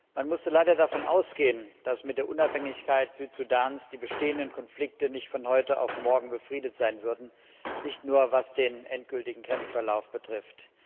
Man musste leider davon ausgehen, dass mit der Unabhängigkeit Süd Sudans die bestehenden Konflikte nicht von heute auf morgen befriedet sein würden, nicht nur was den endgültigen Grenzverlauf betrifft.